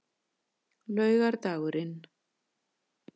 laugardagurinn